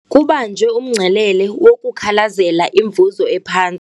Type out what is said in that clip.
Kubanjwe umngcelele wokukhalazela imivuzo ephantsi.